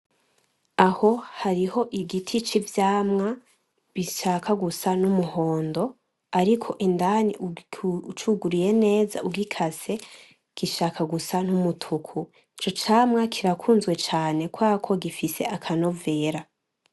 Aho hariho igiti c'ivyamwa bishaka gusa n'umuhondo ariko indani ucuguruye neza ugikase gishaka gusa n'umutuku ico camwa kirakunzwe cane kubera ko gifise akanovera.